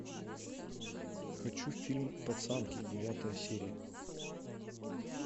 хочу фильм пацанки девятая серия